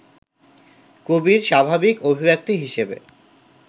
কবির স্বাভাবিক অভিব্যক্তি হিসেবে